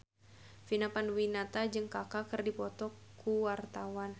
Vina Panduwinata jeung Kaka keur dipoto ku wartawan